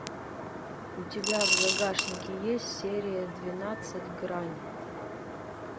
у тебя в загашнике есть серия двенадцать грань